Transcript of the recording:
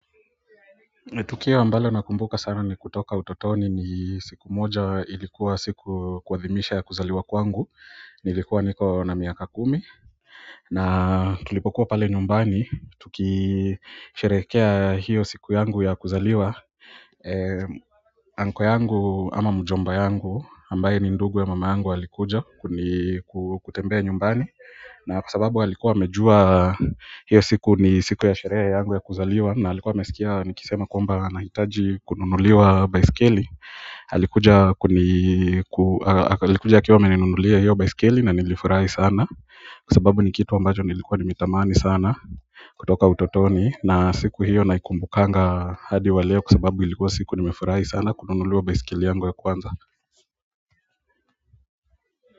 Tukio ambalo nakumbuka sana ni kutoka utotoni ni siku moja ilikuwa siku kuwathimisha ya kuzaliwa kwangu, nilikuwa niko na miaka kumi na tulipokuwa pale nyumbani, tukisherehekea hiyo siku yangu ya kuzaliwa uncle yangu ama mjomba yangu ambaye ni ndugu ya mama yangu alikuja kutembea nyumbani na kwa sababu alikuwa amejua hiyo siku ni siku ya sherehe yangu ya kuzaliwa na alikuwa amesikia nikisema kwamba nahitaji kununuliwa baiskeli alikuja akiwa ameninunulia hiyo baiskeli na nilifurahi sana kwa sababu ni kitu ambacho nilikuwa nimetamani sana kutoka utotoni na siku hiyo naikumbukanga hadi wa leo kwa sababu ilikuwa siku nimefurahi sana kununuliwa baiskeli yangu ya kwanza.